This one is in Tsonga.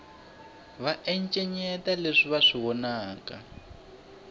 va encenyeta leswi va swi vonaka